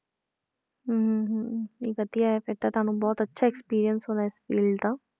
ਹਮ ਨਹੀਂ ਵਧੀਆ ਹੈ ਫਿਰ ਤਾਂ ਤੁਹਾਨੂੰ ਬਹੁਤ ਅੱਛਾ experience ਹੋਣਾ ਇਸ field ਦਾ।